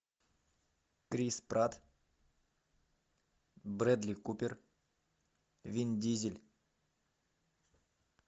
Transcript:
крис пратт брэдли купер вин дизель